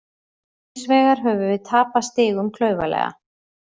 Hins vegar höfum við tapað stigum klaufalega.